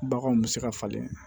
Baganw bɛ se ka falen